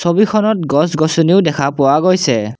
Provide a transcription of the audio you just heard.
ছবিখনত গছ গছনিও দেখা পোৱা গৈছে।